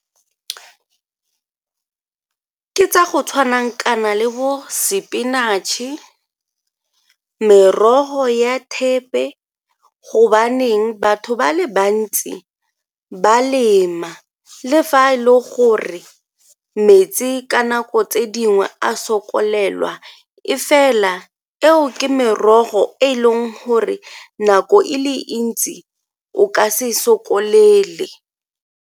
Ke tsa go tshwanang kana le bo spinatšhe, merogo ya thepe gobaneng batho ba le bantsi ba lema le fa e le gore metsi ka nako tse dingwe a sokolelwa e fela eo ke merogo e e leng gore nako e le ntsi o ka se e sokolele.